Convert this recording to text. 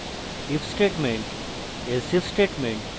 if statement elsif statement